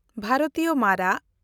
ᱵᱷᱟᱨᱚᱛᱤᱭᱚ ᱢᱟᱨᱟᱜ